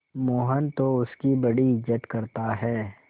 मोहन तो उसकी बड़ी इज्जत करता है